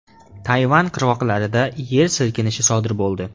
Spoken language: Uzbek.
Tayvan qirg‘oqlarida yer silkinishi sodir bo‘ldi.